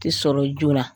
Ti sɔrɔ joona